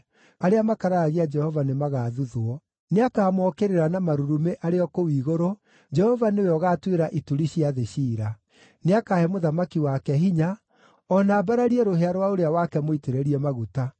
arĩa makararagia Jehova nĩmagathuthwo. Nĩakamookĩrĩra na marurumĩ arĩ o kũu igũrũ; Jehova nĩwe ũgatuĩra ituri cia thĩ ciira. “Nĩakahe mũthamaki wake hinya, a na ambararie rũhĩa rwa ũrĩa wake mũitĩrĩrie maguta.”